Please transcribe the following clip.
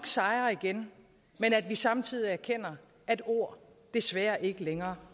sejre igen men at vi samtidig erkender at ord desværre ikke længere